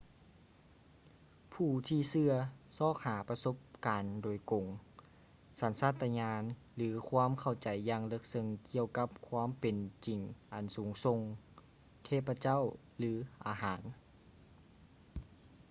ຜູ້ທີ່ເຊື່ອຊອກຫາປະສົບການໂດຍກົງ ສັນຊາດຕະຍານ ຫຼື ຄວາມເຂົ້າໃຈຢ່າງເລິກເຊິ່ງກ່ຽວກັບຄວາມເປັນຈິງອັນສູງສົ່ງ/ເທບພະເຈົ້າ ຫຼື ອາຫານ